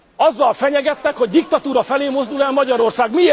Azzal fenyegettek, hogy diktatúra felé mozdul el Magyarország.